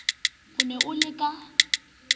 o ne o le ka